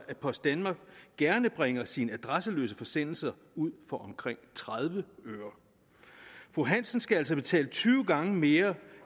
at post danmark gerne bringer sine adresseløse forsendelser ud for omkring tredive øre fru hansen skal altså betale tyve gange mere